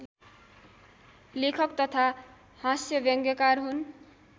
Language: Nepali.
लेखक तथा हास्यव्यङ्यकार हुन्